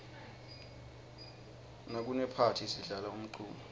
nakunephathi sidlala umculo